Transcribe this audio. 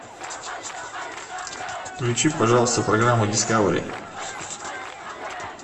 включи пожалуйста программу дискавери